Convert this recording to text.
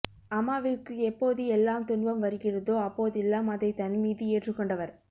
அம்மாவிற்க்கு எப்போது எல்லாம் துன்பம் வருகிறதோ அப்போதெல்லாம் அதை தன்மீது ஏற்றுகொண்டவர்